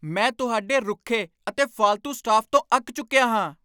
ਮੈਂ ਤੁਹਾਡੇ ਰੁੱਖੇ ਅਤੇ ਫਾਲਤੂ ਸਟਾਫ਼ ਤੋਂ ਅੱਕ ਚੁੱਕਿਆ ਹਾਂ।